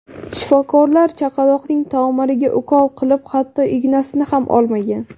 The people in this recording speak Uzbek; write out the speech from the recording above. Shifokorlar chaqaloqning tomiriga ukol qilib, hatto ignasini ham olmagan.